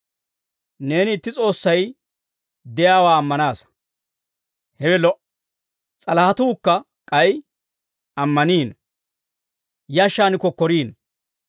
Neeni itti S'oossay de'iyaawaa ammanaasa; hewe lo"a. S'alahetuukka k'ay ammaniino; yashshaan kokkoriino.